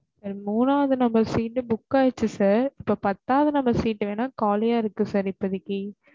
மூணாவது number seat book ஆகிருச்சு sir இப்ப பத்தாவது number seat வெனா காலியா இருக்கு sir இப்போதைக்கு